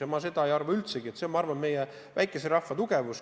Ma ei arva üldsegi, et debatt on paha, see on, ma arvan, meie väikese rahva tugevus.